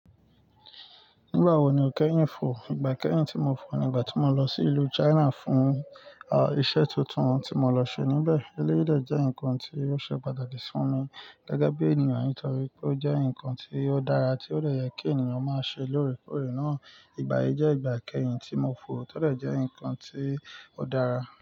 Nígbà wo ni o kẹ́yìn fò? Ìgbà kẹ́yìn tí mo fò ni ìgbà tí mo lọ sí ìlú China fún, ah, iṣẹ́ tuntun tí mo lọ ṣe níbẹ̀. Eléyìí de jẹ́ nǹkan tí ó ṣe pàtàkì sí mi gege bí ènìyàn nítorí pé ó jẹ́ nǹkan tí ó dára tí ó dẹ́ yẹ kí ènìyàn máa ṣe lóòrèkóòrè náà. Ìgbà yí jẹ́ ìgbà kẹ́yìn tí mo fò. To dẹ̀ jẹ́ nǹkan tí ó dára.